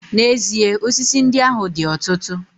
N'ezie, osisi ndị ahụ dị ọtụtụ